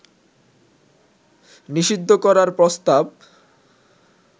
নিষিদ্ধ করার প্রস্তাব